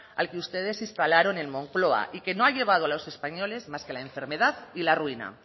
al que ustedes instalaron en moncloa y que no ha llevado a los españoles más que a la enfermedad y la ruina